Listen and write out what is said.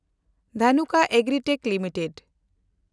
Dhanuka Agritech limited